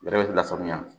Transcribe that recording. Yɛrɛ bɛ lafaamuya